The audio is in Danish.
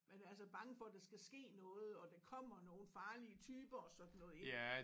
Man er så bange for der skal ske noget og der kommer nogle farlige typer og sådan noget ik